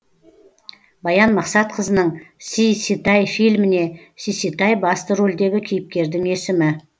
баян мақсатқызының сиситай фильміне сиситай басты рөлдегі кейіпкердің есімі